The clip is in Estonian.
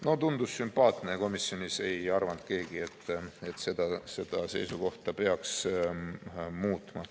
No tundus sümpaatne ja komisjonis ei arvanud keegi, et seda seisukohta peaks muutma.